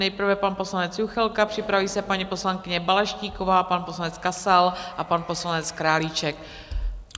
Nejprve pan poslanec Juchelka, připraví se paní poslankyně Balaštíková, pan poslanec Kasal a pan poslanec Králíček.